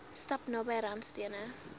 stap naby randstene